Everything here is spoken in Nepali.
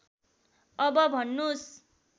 अब भन्नुस्